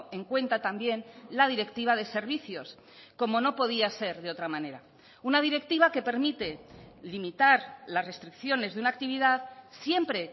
en cuenta también la directiva de servicios como no podía ser de otra manera una directiva que permite limitar las restricciones de una actividad siempre